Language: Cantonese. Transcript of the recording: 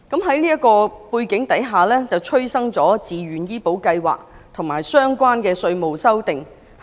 在這個背景下，自願醫保計劃及相關的稅務修訂應運而生。